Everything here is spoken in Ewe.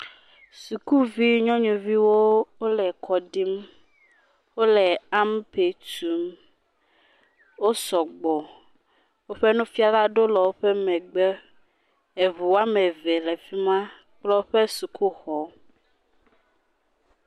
Sukuvi nyɔnuviwo le kɔ ɖim. Wòle ampe tum. Wotsɔ gbɔ. Woƒe nufiala aɖewo le woƒe megbe. Eʋu woame eve le fima kple woƒe suku xɔ.